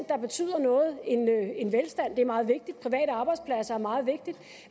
der betyder noget velstand er meget vigtigt private arbejdspladser er meget vigtigt